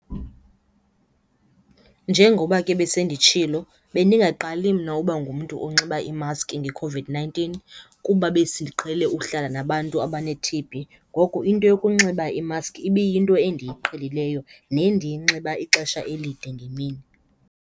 Njengoba ke besenditshilo, bendingaqali mna uba ngumtu onxiba imaski ngeCOVID-nineteen kuba besiqhele uhlala nabantu abane-T_B. Ngoko into yokunxiba imask ibiyinto endiyiqhelileyo nendiyinxiba ixesha elide ngemini.